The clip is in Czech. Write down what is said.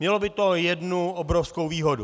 Mělo by to jednu obrovskou výhodu.